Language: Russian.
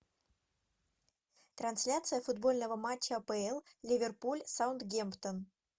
трансляция футбольного матча апл ливерпуль саутгемптон